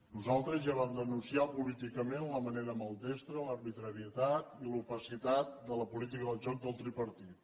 nosaltres ja vam denunciar políticament la manera maldestra l’arbitrarietat i l’opacitat de la política del joc del tripartit